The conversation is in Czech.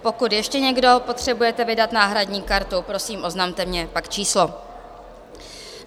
Pokud ještě někdo potřebujete vydat náhradní kartu, prosím, oznamte mi pak číslo.